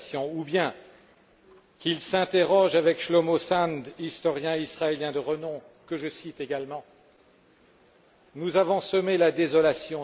Ou bien qu'ils s'interrogent avec Shlomo Sand, historien israélien de renom, que je cite également Nous avons semé la désolation.